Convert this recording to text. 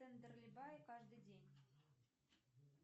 тендерлибае каждый день